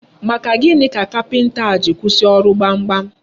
Maka gịnị ka kapinta a ji kwụsị ọrụ gbamgbam?